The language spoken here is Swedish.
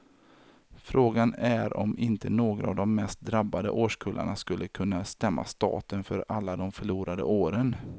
Frågan är om inte några av de mest drabbade årskullarna skulle kunna stämma staten för alla de förlorade åren.